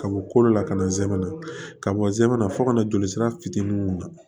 Ka bɔ kolo la ka na zɛmɛ na ka bɔ zamɛ na fɔ kana joli sira fitinin mun na